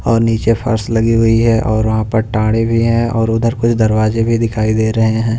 और नीचे फर्श लगी हुई है और वहां पर टाड़े भी हैं और उधर कुछ दरवाजे भी दिखाई दे रहे हैं।